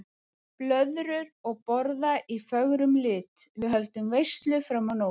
Blöðrur og borða í fögrum lit, við höldum veislu fram á nótt.